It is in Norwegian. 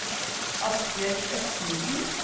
Asbjørg Østensen